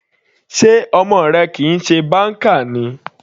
Sé ọmọ rẹ kìí ṣe banker ni.